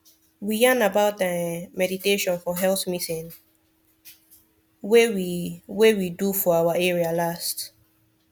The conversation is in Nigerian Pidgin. we yarn about ah meditation for health meeting wey we wey we do for our area last